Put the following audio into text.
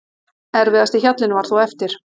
Erfiðasti hjallinn var þó eftir.